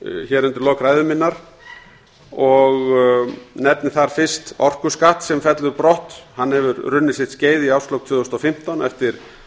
hér undir lok ræðu minnar og nefni þar fyrst orkuskatt sem fellur brott hann hefur runnið sitt skeið í árslok tvö þúsund og fimmtán eftir